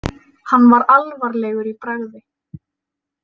Hann var alvarlegur í bragði.